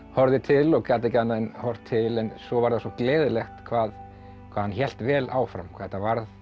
horfði til og gat ekki annað en horft til en svo var það svo gleðilegt hvað hvað hann hélt vel áfram hvað þetta var